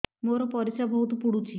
ମୋର ପରିସ୍ରା ବହୁତ ପୁଡୁଚି